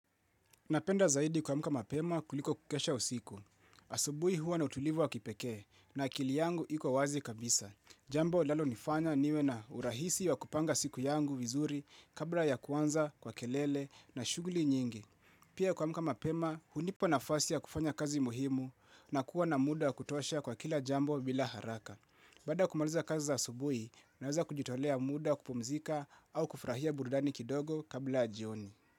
Napenda zaidi kuamka mapema kuliko kukesha usiku. Asubuhi huwa na utulivu wa kipekee na akili yangu iko wazi kabisa. Jambo inalonifanya niwe na urahisi wa kupanga siku yangu vizuri kabla ya kuanza kwa kelele na shughuli nyingi. Pia kuamka mapema, hunipa nafasi ya kufanya kazi muhimu na kuwa na muda wa kutosha kwa kila jambo bila haraka. Baada ya kumaliza kazi za asubuhi, naweza kujitolea muda wa kupumzika au kufurahia burudani kidogo kabla ya jioni.